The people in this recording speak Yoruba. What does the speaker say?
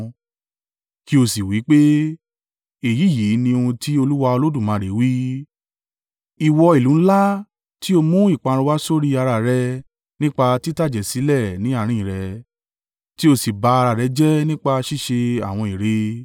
Kí ó sì wí pé, ‘Èyí yìí ní ohun tí Olúwa Olódùmarè wí: Ìwọ ìlú ńlá tí ó mú ìparun wá sórí ara rẹ nípa títàjẹ̀sílẹ̀ ní àárín rẹ, tí ó sì ba ara rẹ̀ jẹ́ nípa ṣíṣe àwọn ère.